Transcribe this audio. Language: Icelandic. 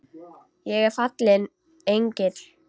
Ég er fallinn engill.